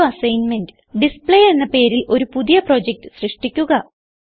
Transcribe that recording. ഒരു assignment display എന്ന പേരിൽ ഒരു പുതിയ പ്രൊജക്റ്റ് സൃഷ്ടിക്കുക